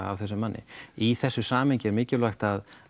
af þessum manni í þessu samhengi er líka mikilvægt að